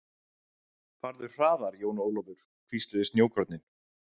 Farðu hraðar Jón Ólafur, hvísluðu snjókornin.